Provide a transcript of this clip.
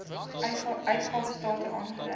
uitgawe state aangedui